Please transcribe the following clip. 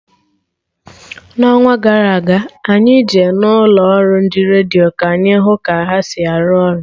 N'ọnwa gara aga, anyị Je na ụlọ ọrụ ndị redio ka anyị hụ ka ha si arụ ọrụ